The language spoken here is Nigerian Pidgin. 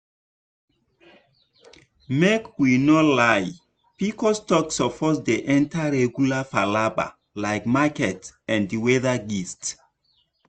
make we no lie pcos talk suppose dey enter regular palava like market and weather gist.